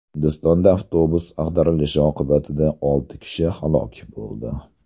Hindistonda avtobusning ag‘darilishi oqibatida olti kishi halok bo‘ldi.